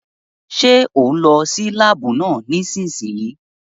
Ṣé òún lọ sí láàbù náà nísìsiyìí?